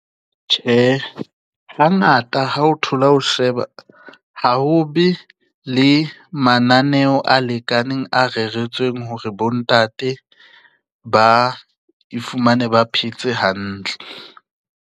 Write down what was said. Tjhe, ha ngata ha o thola ho sheba ha obe le mananeo a lekaneng a reretsweng hore bontate ba e fumane ba phetse hantle.